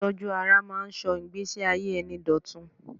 Ìtọ́jú ara ń máa ń sọ ìgbẹ́síayé ẹni dọ̀tun.